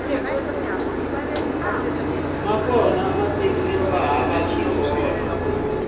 ya kona matiko yova hava swikolo